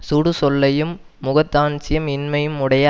சுடுசொல்லையும் முகதாட்சண்யம் இன்மையும் உடைய